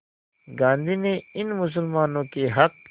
गांधी ने इन मुसलमानों के हक़